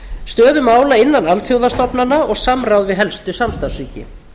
stöðu mála innan alþjóðastofnana og samráð við helstu samstarfsríki